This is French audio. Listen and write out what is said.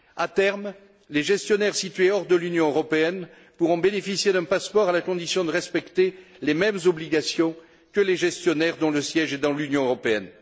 À terme, les gestionnaires situés hors de l'Union européenne pourront bénéficier d'un passeport à la condition de respecter les mêmes obligations que les gestionnaires dont le siège est dans l'Union européenne.